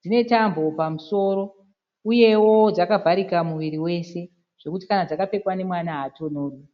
Dzine tambo pamusoro uyewo dzakavharika muviri wose zvokuti kana dzakapfekwa nemwana haatonhorwi.